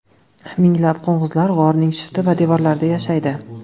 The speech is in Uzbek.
Minglab qo‘ng‘izlar g‘orning shifti va devorlarida yashaydi.